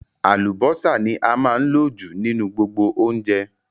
Àlùbọ́sà ní a máa ń lò jù nínú gbogbo oúnjẹ